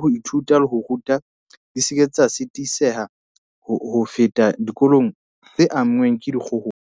ho ithuta le ho ruta di seke tsa sitiseha ho feta dikolong tse anngweng ke dikgohola.